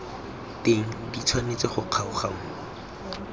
teng di tshwanetse go kgaoganngwa